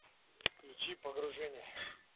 включи погружение